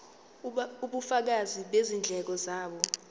ubufakazi bezindleko zabo